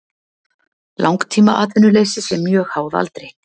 Langtímaatvinnuleysi sé mjög háð aldri